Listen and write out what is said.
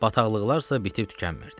Bataqlıqlar isə bitib-tükənmirdi.